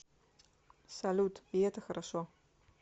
салют и это хорошо